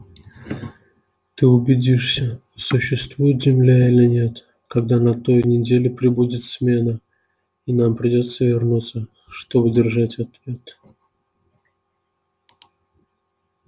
ты убедишься существует земля или нет когда на той неделе прибудет смена и нам придётся вернуться чтобы держать ответ